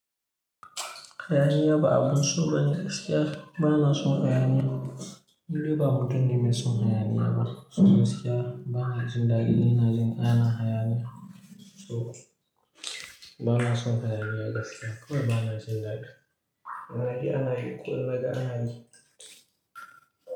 Hayaniya ba abun so bane gaskiya. Ba na son hayaniya. Ni ba mutum ne mai son hayaniya ba. So gaskiya ba na jin daɗi ina jin ana hayaniya. So ba na son hayaniya gaskiya. Ko dai ba na jin daɗi. Na ji ana yi. Ko ina daga ana yi.